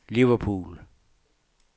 Liverpool